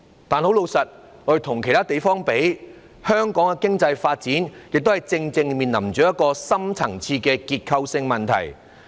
可是，老實說，跟其他地方比較，香港的經濟發展正面臨深層次的結構性問題。